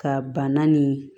Ka bana nin